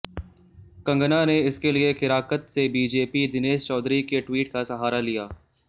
कंगना ने इसके लिए केराकत से बीजेपी दिनेश चौधरी के ट्वीट का सहारा लिया